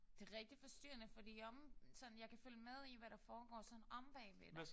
Det er rigtig forstyrrende fordi omme sådan jeg kan følge med i hvad der foregår sådan omme bagved dig